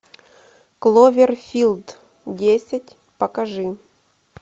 кловерфилд десять покажи